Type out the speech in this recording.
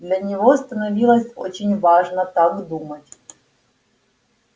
для него становилось очень важно так думать